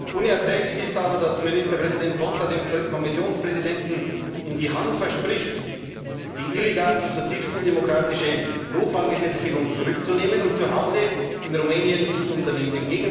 Unerträglich ist aber, dass Ministerpräsident Ponta dem Kommissionspräsidenten in die Hand verspricht, die illegale und zutiefst undemokratische Notfallgesetzgebung zurückzunehmen und zu Hause in Rumänien nichts unternimmt.